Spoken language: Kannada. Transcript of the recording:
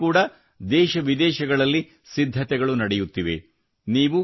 ಅದಕ್ಕಾಗಿ ಕೂಡಾ ದೇಶ ವಿದೇಶಗಳಲ್ಲಿ ಸಿದ್ಧತೆಗಳು ನಡೆಯುತ್ತಿವೆ